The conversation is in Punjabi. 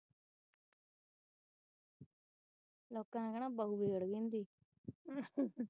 ਲੋਕਾਂ ਨੇ ਕਹਿਣਾ ਬਹੁ ਵਿਗੜ ਗਈ ਇਨਾਂ ਦੀ